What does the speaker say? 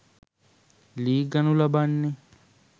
ලී ගනු ලබන්නේ